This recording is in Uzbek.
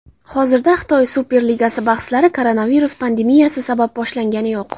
Hozirda Xitoy Superligasi bahslari koronavirus pandemiyasi sabab boshlangani yo‘q.